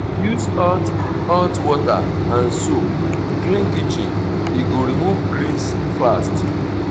use hot hot water and soap clean kitchen e go remove grease fast.